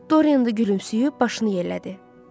Dorian da gülümsəyib, başını yellədi.